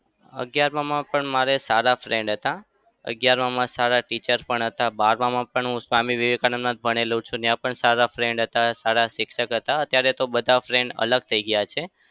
અગિયારમાં માં પણ મારે સારા friend હતા. અગિયારમાં માં સારા teacher પણ હતા. બારમાં પણ હું સ્વામી વિવેકાનંદ માં જ ભણેલો છું. ત્યાં પણ સારા friend હતા. સારા શિક્ષક હતા. અત્યારે તો બધા friend અલગ થઇ ગયા છે.